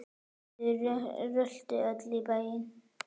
Þau röltu öll í bæinn.